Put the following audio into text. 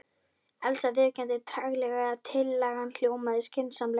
Elsa viðurkenndi treglega að tillagan hljómaði skynsamlega.